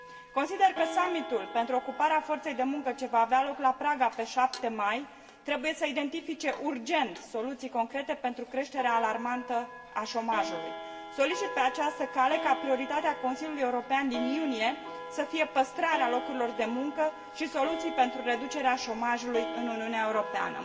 Consider că summitul pentru ocuparea forței de muncă, ce va avea loc la Praga pe 7 mai, trebuie să identifice urgent soluții concrete pentru creșterea alarmantă a șomajului. Solicit pe această cale ca prioritatea Consiliului European din iunie să fie păstrarea locurilor de muncă și soluții pentru reducerea șomajului în Uniunea Europeană.